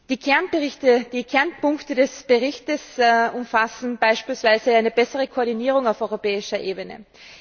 Die Kernpunkte des Berichtes umfassen beispielsweise eine bessere Koordinierung auf europäischer Ebene.